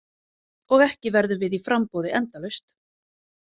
Og ekki verðum við í framboði endalaust.